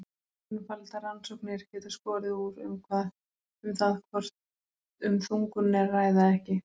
Einfaldar rannsóknir geta skorið úr um það hvort um þungun er að ræða eða ekki.